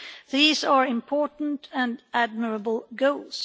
These are important and admirable goals.